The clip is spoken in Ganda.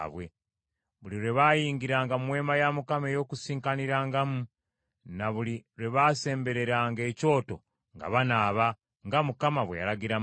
Buli lwe baayingiranga mu Weema ey’Okukuŋŋaanirangamu, ne buli lwe baasembereranga ekyoto nga banaaba, nga Mukama bwe yalagira Musa.